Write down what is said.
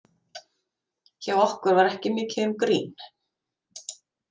Hjá okkur var ekki mikið um grín.